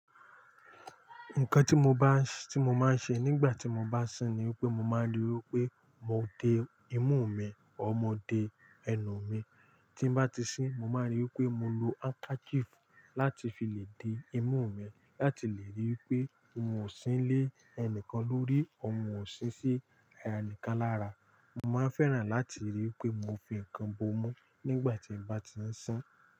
Nǹkan tí mo bá, tí mo máa ń ṣe nígbà tí mo bá sín ni pé mo máa ń ríi pé mo de imú mi ọr mo de ẹnu mi. Tí n bá ti sín mo máa n ríi pé mo lo handkerchief láti fi lè di imú mi láti lè ríi pé mi ò sín lé ẹnìkan lórí, un ò sín sí ẹnìkan lára. Mo máa ń fẹ́ràn láti ríi pé mo fi ǹkan bo mú nígbà tí n bá ti ń sín.